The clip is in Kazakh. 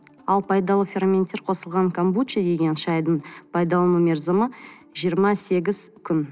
ал пайдалы ферменттер қосылған комбучи деген шайдың пайдалану мерзімі жиырма сегіз күн